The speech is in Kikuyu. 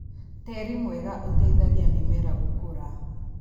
Tĩri mwega ũteithagia mĩmera gũkũra.